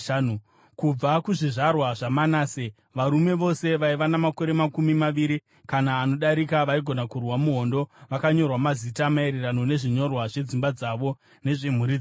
Kubva kuzvizvarwa zvaManase: Varume vose vaiva namakore makumi maviri kana anodarika vaigona kurwa muhondo vakanyorwa mazita, maererano nezvinyorwa zvedzimba dzavo nezvemhuri dzavo.